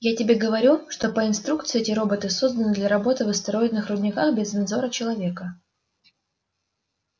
я тебе говорю что по инструкции эти роботы созданы для работы в астероидных рудниках без надзора человека